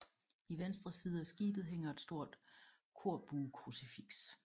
I venstre side af skibet hænger et stort korbuekrucifiks